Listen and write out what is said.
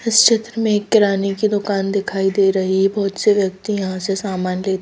इस चित्र में एक किराने की दुकान दिखाई दे रही है बहुत से व्यक्ति यहां से सामान लेत--